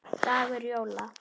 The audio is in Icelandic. dagur jóla.